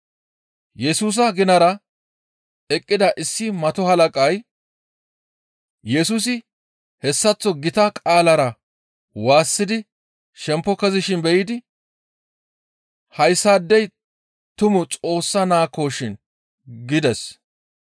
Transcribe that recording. Yesusa ginara eqqida issi mato halaqay Yesusi hessaththo gita qaalara waassidi shempo kezishin be7idi, «Hayssaadey tumu Xoossa naakkoshin» gides.